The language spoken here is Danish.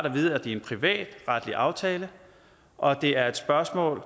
at vide at det er en privatretlig aftale og at det er et spørgsmål